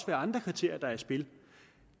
være andre kriterier i spil